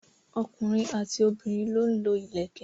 ọkùnrin àti obìnrin lọ ń lo ìlẹ̀kẹ̀.